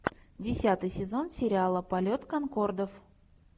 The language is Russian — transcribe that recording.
десятый сезон сериала полет конкордов